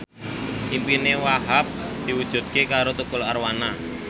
impine Wahhab diwujudke karo Tukul Arwana